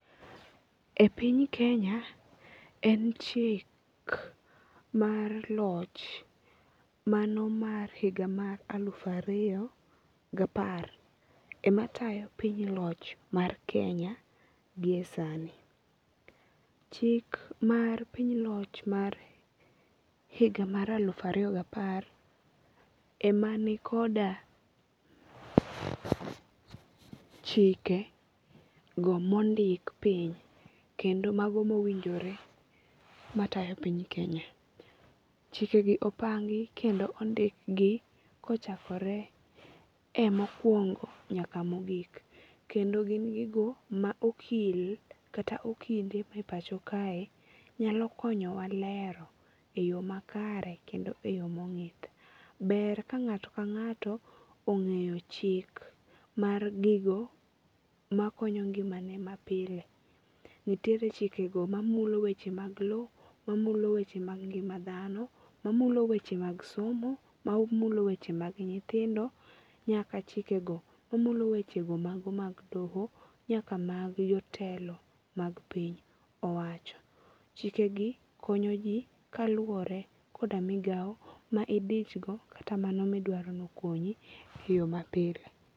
E piny Kenya, en chik mar loch mano mar higa mar aluf ariyo gapar ema tayo piny loch mar Kenya gi e sani. Chik mar piny loch mar higa mar aluf ariyo gapar ema nikoda chikego mondik piny kendo mago mowinjore matayo piny Kenya. Ckikegi opangi kendo ondikgi kochakore e mokwongo nyaka mogik, kendo gin gigo ma okil kata okinde e pacho kae nyalo konyowa lero e yo makare kendo e yo mong'ith. Ber ka ng'ato ka ng'ato ong'eyo chik mar gigo ma konyo ngimane mapile. Nitiere chikego mamulo wechego mag lo, mamulo weche mag ngima dhano, mamulo weche mag somo, mamulo weche mag nyithindo nyaka chikego mamulo wechego mago mag doho nyaka mag jotelo mag piny owacho. Chikegi konyo ji kaluwore koda migawo ma idichgo kata mano midwaro nokonyi e yo mapile.